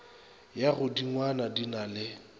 ya godingwana di na le